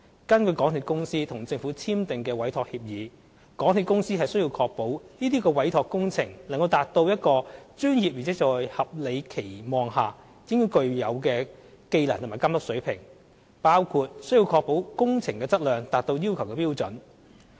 根據港鐵公司與政府簽訂的委託協議，港鐵公司須確保這些委託工程能達至一個專業而在合理的期望下應具有的技能和監督水平，包括須確保工程質量達到要求的標準。